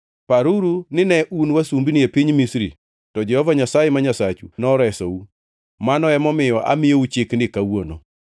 Paruru nine un wasumbini e piny Misri to Jehova Nyasaye ma Nyasachu noresou. Mano emomiyo amiyou chikni kawuono.